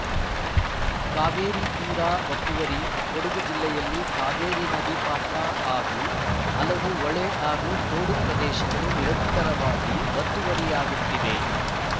ಕಾವೇರಿ ತೀರ ಒತ್ತುವರಿ ಕೊಡಗು ಜಿಲ್ಲೆಯಲ್ಲಿ ಕಾವೇರಿ ನದಿ ಪಾತ್ರ ಹಾಗೂ ಹಲವು ಹೊಳೆ ಹಾಗೂ ತೋಡು ಪ್ರದೇಶಗಳು ನಿರಂತರವಾಗಿ ಒತ್ತುವರಿಯಾಗುತ್ತಿವೆ